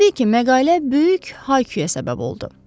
Təbii ki, məqalə böyük hay-küyə səbəb oldu.